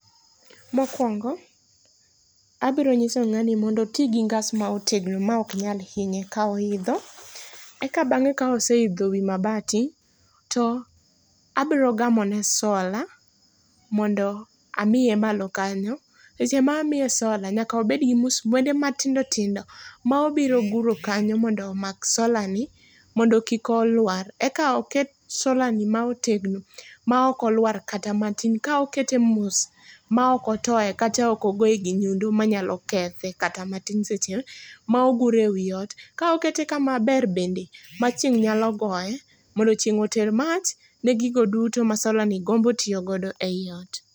Mokwongo, abonyiso ng'ani mondo otii gi ngas ma otegno ma oknyal hinye kaoidho. Eka bang'e ka oseidho wii mabati to abro gamone solar mondo amie malo kanyo. E seche ma amie solar nyaka obed gi msumwende matindo tindo maobiro guro kanyo mondo omak solarni mondo kik oluar, eka oket solarni maotegno maoko luar kata matin, kaokete mos maokotoe kata okogoe gi nyundo manyalo kethe kata matin seche ma ogure ewi ot ka okete kama ber bende machieng' nyalo goe mondo chieng' oter mach ne gigo duto ma solarni gombo tio godo eyi ot.